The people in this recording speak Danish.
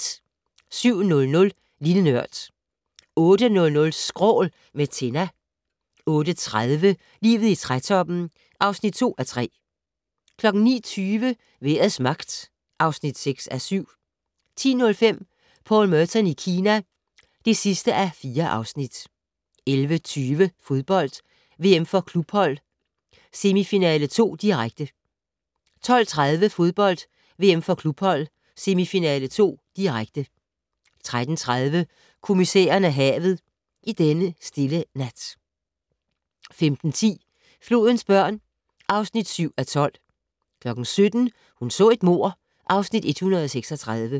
07:00: Lille Nørd 08:00: Skrål - med Tinna 08:30: Livet i trætoppen (2:3) 09:20: Vejrets magt (6:7) 10:05: Paul Merton i Kina (4:4) 11:20: Fodbold: VM for klubhold - semifinale 2, direkte 12:30: Fodbold: VM for klubhold - semifinale 2, direkte 13:30: Kommissæren og havet: I denne stille nat 15:10: Flodens børn (7:12) 17:00: Hun så et mord (Afs. 136)